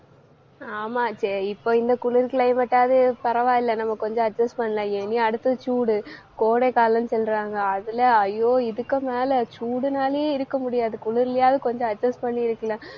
ஆமா சரி இப்ப இந்த குளிரு climate டாவே பரவாயில்லை நம்ம கொஞ்சம் adjust பண்ணி~ இனி அடுத்தது சூடு கோடைகாலம்னு சொல்றாங்க. அதுல ஐயோ இதுக்கு மேல சூடுனாலயே இருக்க முடியாது. குளிர்லயாவது கொஞ்சம் adjust பண்ணி இருக்கலாம்